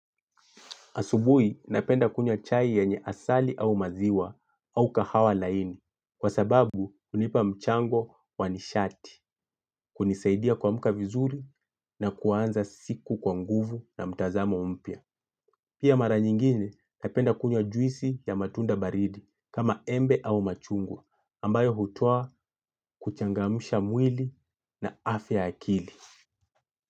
Asubui napenda kunywa chai yenye asali au maziwa au kahawa laini kwa sababu hunipa mchango wa nishati hunisaidia kuamka vizuri na kuanza siku kwa nguvu na mtazamo mpya. Pia mara nyinyine napenda kunywa juisi ya matunda baridi kama embe au machungwa ambayo hutoa huchangamsha mwili na afya ya akili.